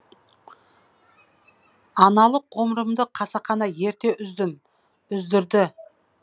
аналық ғұмырымды қасақана ерте үздім үздірді